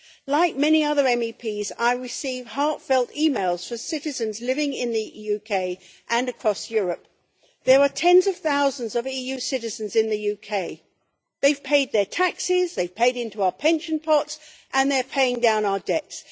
Like many other MEPs I receive heartfelt emails from citizens living in the UK and across Europe. There are tens of thousands of EU citizens in the UK. They have paid their taxes, they have paid into our pension pots, and they are paying down our debts.